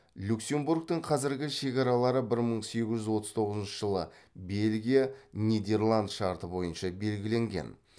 люксембургтің қазіргі шекаралары бір мың сегіз жүз отыз тоғызыншы жылы бельгия нидерланд шарты бойынша белгіленген